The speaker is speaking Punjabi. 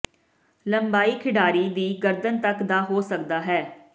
ਲੰਬਾਈ ਖਿਡਾਰੀ ਦੀ ਗਰਦਨ ਤੱਕ ਦਾ ਹੋ ਸਕਦਾ ਹੈ